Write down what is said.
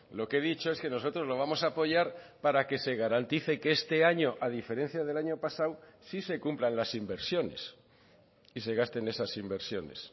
lo que he dicho es que nosotros lo vamos a apoyar para que se garantice que este año a diferencia del año pasado sí se cumplan las inversiones y se gasten esas inversiones